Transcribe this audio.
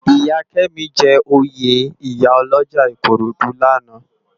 Iyá Kemi jè óyé iyá òlòjá Ikorodu làná